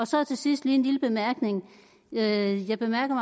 så til sidst lige en lille bemærkning jeg jeg bemærker